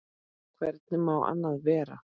Hvernig má annað vera?